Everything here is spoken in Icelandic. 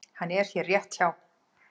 Hann er hér rétt hjá.